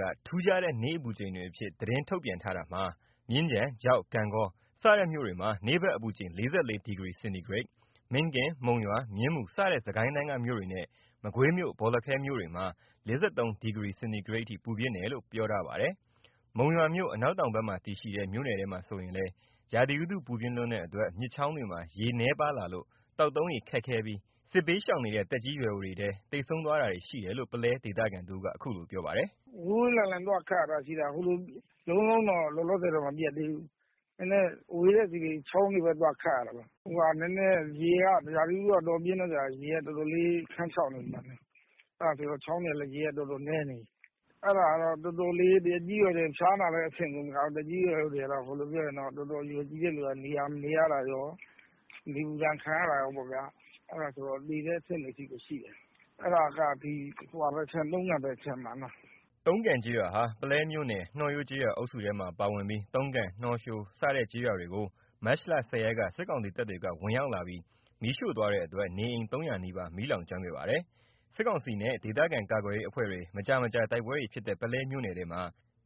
က ထူးခြားတဲ့ နေ့အပူချိန်တွေအဖြစ် သတင်းထုတ်ပြန်ထားတာမှာ မြင်းခြံ၊ ချောက်၊ ဂန့်ဂေါ စတဲ့မြို့တွေမှာ နေ့ဘက်အပူချိန် ၄၄ ဒီဂရီစင်တီဂရိတ်၊ မင်းကင်း၊ မုံရွာ၊ မြင်းမူစတဲ့ စစ်ကိုင်းတိုင်းက မြို့တွေနဲ့ မကွေးမြို့၊ ဘော်လခဲမြို့တွေမှာ ၄၃ ဒီဂရီစင်တီဂရိတ်အထိ ပူပြင်းတယ်လို့ ပြောထားပါတယ်။ မုံရွာမြို့ အနောက်တောင်ဘက်မှာတည်ရှိတဲ့ မြို့နယ်ထဲမှာဆိုရင်လည်း ရာသီဥတု ပူပြင်းလွန်းတဲ့အတွက် မြစ်ချောင်းတွေမှာ ရေနည်းပါးလာလို့ သောက်သုံးရေ ခက်ခဲပြီး စစ်ဘေးရှောင်နေတဲ့ သက်ကြီးရွယ်အိုတွေထဲ သေဆုံးတာတွေရှိတယ်လို့ ပုလဲဒေသခံတဦးက အခုလိုပြောပါတယ်။ “ဝေးဝေးလံလံသွားခပ်ရတာရှိတာ ဟိုလိုလုံးလုံးတော့ လောလောဆယ်မပြတ်သေးဘူး။ နည်းနည်းဝေးတဲ့ဆီ ချောင်းတွေဘက် သွားခပ်ရတာ။ နည်းနည်းရေက ရာသီဥတုက တော်တော်ပြင်းတဲ့အတွက်ကြောင့် ရေက တော်တော်လေး ခမ်းခြောက်နေတယ်။ အဲ့ဒါဆိုတော့ ချောင်းတွေကလည်း ရေက တော်တော်နည်းနေပြီ။ အဲ့ဒါနဲ့ တော်တော်လေး သက်ကြီးရွယ်အိုတွေက ဖျားနာတဲ့အဆင့်ကို မဟုတ်တော့ဘူး။ တော်တော်အရွယ်ကြီးတဲ့သူက နေရတာကော နေပူဒဏ်ခံရတာကော အဲ့ဒါက သေတဲ့အဆင့်တွေထိကိုရှိတယ်။ အဲ့ဒါက တုံးကန်ဘက် ခြမ်းမှာ။” တုံးကန်ကျေးရွာဟာ ပုလဲမြို့နယ် နှောရိုးကျေးရွာအုပ်စုထဲမှာ ပါဝင်ပြီး တုံးကန် နှောရိုး စတဲ့ ကျေးရွာတွေကို မတ်လ ၁၀ ရက်က စစ်ကောင်စီတပ်တွေက ဝင်ရောက်လာပြီး မီးရှို့သွားတဲ့အတွက် နေအိမ် ၃၀၀ နီးပါး မီးလောင်ကျွမ်းခဲ့ပါတယ်။ စစ်ကောင်စီနဲ့ ဒေသခံကာကွယ်ရေးအဖွဲ့တွေ မကြာမကြာ တိုက်ပွဲတွေဖြစ်တဲ့ ပုလဲမြိ့နယ်ထဲမှာ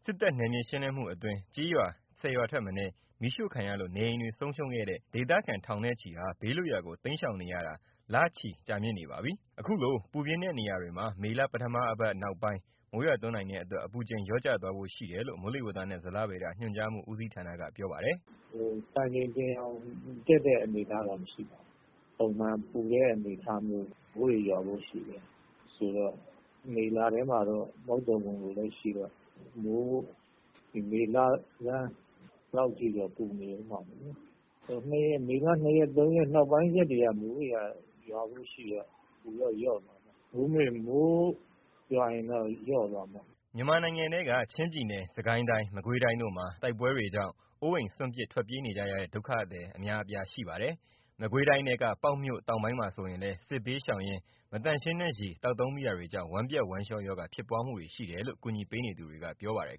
စစ်တပ်နယ်မြေရှင်းလင်းမှုအတွင်း ကျေးရွာ ၁၀ ရွာထက်မနည်း မီးရှို့ခံရလို့ နေအိမ်တွေ ဆုံးရှုံးခဲ့တဲ့ ဒေသခံထောင်နဲ့ချီဟာ ဘေးလွတ်ရာကို တိမ်းရှောင်နေရတာ လချီကြာမြင့်နေပါပြီ။ အခုလို ပူပြင်းတဲ့ နေရာတွေမှာ မေလ ပထမအပတ် နောက်ပိုင်း မိုးရွာသွန်းနိုင်တဲ့အတွက် အပူချိန်လျော့ကျသွားဖို့ရှိတယ်လို့ မိုးလေဝသနဲ့ ဇလဗေဒညွှန်ကြားမှု ဦးစီးဌာနက ပြောပါတယ်။ “စံချိန်တင်အောင် အပူဖြတ်တဲ့အနေအထားမျိုးတော့မရှိပါဘူး။ ပုံမှန်ပူတဲ့အနေအထားမျိုးပဲ။ မိုးတွေရွာဖို့ရှိတယ်ဆိုတော့ မေလထဲမှာတော့ မုတ်သုန်ဝင်ဖို့လည်းရှိတော့ မေလဆန်းလောက်ထိတော့ ပူနေအုံးမှာပေါ့။ မေလ ၂ ရက် ၃ ရက်နောကိုင်း ရွာဖို့ရှိတော့ အပူတော့ လျော့သွားမှာပေါ့။ မိုးရွာရင်တော့ လျော့သွားမှာပေါ့။” မြန်မာနိုင်ငံထဲက ချင်းပြည်နယ် စစ်ကိုင်းတိုင်း မကွေးတိုင်းတို့မှာ တိုက်ပွဲတွေကြောင့် အိုးအိမ်စွန့်ပစ် ထွက်ပြေးနေကြရတဲ့ ဒုက္ခသည်အများအပြားရှိပါတယ်။ မကွေးတိုင်းထဲက ပေါက်မြို့တောင်ပိုင်းမှာဆိုလည်း စစ်ဘေးရှောင်ရင်း မသန့်ရှင်းတဲ့ရေသောက်သုံးမိတာတွေကြောင့် ဝမ်းပျက် ဝမ်းလျောရောဂါ ဖြစ်ပွားမှုတွေ ရှိတယ်လို့ ကူညီပေးနေသူတွေက ပြောပါတယ်